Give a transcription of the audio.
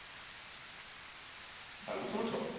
ঢাল বুঝতে পারছো